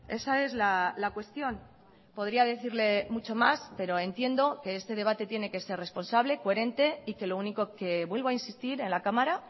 esa es la cuestión podría decirle mucho más pero entiendo que este debate tiene que ser responsable coherente y que lo único que vuelvo a insistir en la cámara